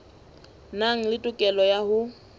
nang le tokelo ya ho